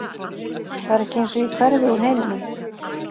Það er ekki eins og ég hverfi úr heiminum.